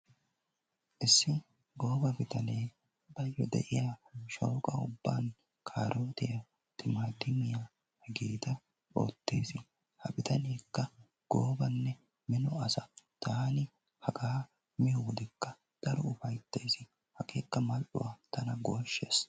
Issi gooba bitanee baayyo de'iya shooqa ubban kaarootiya, timaatimiya hegeeta oottees. Ha bitaneekka keehi minonne gooba asa. Hagaa taani miyodekka mal"uwa tana gooshshees.